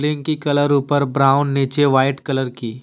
की कलर ऊपर ब्राउन नीचे वाइट कलर की।